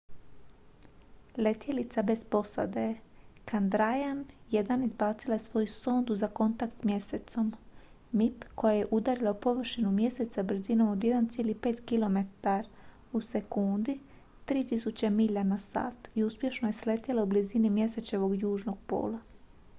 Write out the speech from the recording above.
letjelica bez posade chandrayaan-1 izbacila je svoju sondu za kontakt s mjesecom mip koja je udarila u površinu mjeseca brzinom od 1,5 km/s 3000 milja na sat i uspješno je sletjela u blizini mjesečevog južnog pola